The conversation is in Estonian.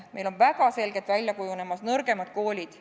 Meil on väga selgelt välja kujunemas nõrgemad koolid.